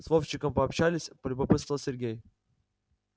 с вовчиком пообщалась полюбопытствовал сергей